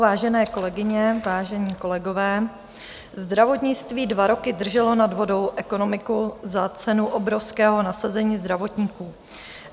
Vážené kolegyně, vážení kolegové, zdravotnictví dva roky drželo nad vodou ekonomiku za cenu obrovského nasazení zdravotníků.